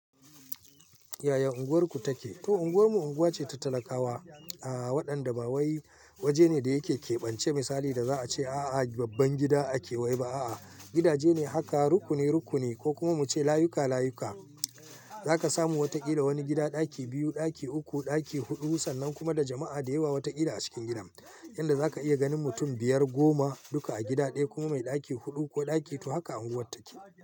Yaya unguwarku take? To unguwarmu unguwa ce ta talakawa, waɗanda ba wai waje ne da yake kebance misali da za a ce a'a babban gida ake wai ba'a. Gidaje ne haka rukuni rukuni ko kuma muce layuka layuka. Zaka samu wataƙila wani gida ɗaki biyu, ɗaki uku, ɗaki huɗu sannan kuma da jama'a da yawa watakila a cikin gidan. Inda zaka iya ganin mutum biyar, goma duka a gida ɗaya ko mai ɗaki huɗu ko ɗaki biyu haka unguwar take.